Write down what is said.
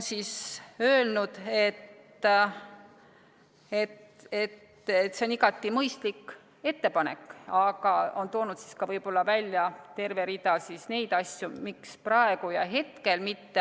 Siis on öelnud, et see on igati mõistlik ettepanek, aga on toonud siis ka välja terve rea neid asju, miks praegu ja hetkel mitte.